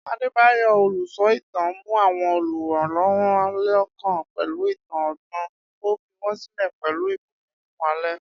Adebayo, olùsọ ìtàn, mú àwọn olùwòran lọ́kàn pẹ̀lú ìtàn ọgbọ́n, ó fi wọ́n sílẹ̀ pẹ̀lú ìbùkún fún alẹ́.